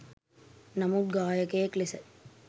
නමුත් ගායකයෙක් ලෙස